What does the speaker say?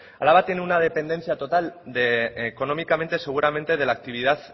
araba tiene una dependencia total económicamente seguramente de la actividad